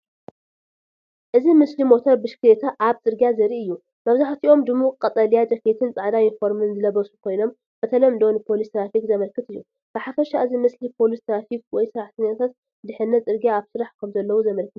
እዚ ምስሊ ሞተር ብሽክለታ ኣብ ጽርግያ ዘርኢ እዩ። መብዛሕትኦም ድሙቕ ቀጠልያ ጃኬትን ጻዕዳ ዩኒፎርምን ዝለበሱ ኮይኖም ብተለምዶ ንፖሊስ ትራፊክ ዘመልክት እዩ። ብሓፈሻ እዚ ምስሊ ፖሊስ ትራፊክ ወይ ሰራሕተኛታት ድሕነት ጽርግያ ኣብ ስራሕ ከምዘለዉ ዘመልክት እዩ።